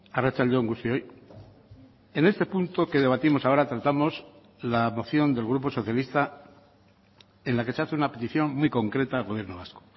arratsalde on guztioi en este punto que debatimos ahora tratamos la moción del grupo socialista en la que se hace una petición muy concreta al gobierno vasco